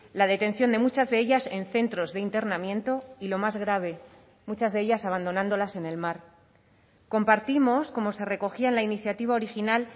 la detención de muchas de ellas en centros de internamiento y lo más grave muchas de ellas abandonándolas en el mar compartimos como se recogía en la iniciativa original